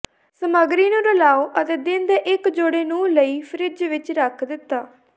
ਸਮੱਗਰੀ ਨੂੰ ਰਲਾਓ ਅਤੇ ਦਿਨ ਦੇ ਇੱਕ ਜੋੜੇ ਨੂੰ ਲਈ ਫਰਿੱਜ ਵਿੱਚ ਰੱਖ ਦਿੱਤਾ